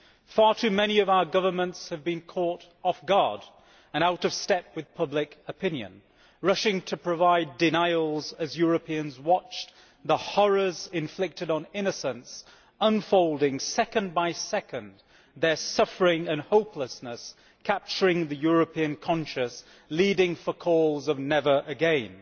Far too many of our governments have been caught off guard and out of step with public opinion rushing to provide denials as Europeans watched the horrors inflicted on innocents unfolding second by second, their suffering and hopelessness capturing the European conscience, pleading for calls of never again!'